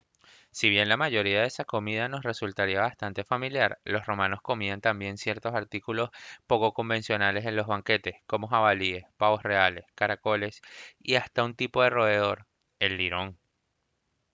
si bien la mayoría de esa comida nos resultaría bastante familiar los romanos comían también ciertos artículos poco convencionales en los banquetes como jabalíes pavos reales caracoles y hasta un tipo de roedor el lirón